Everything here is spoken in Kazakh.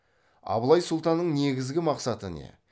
абылай сұлтанның негізгі мақсаты не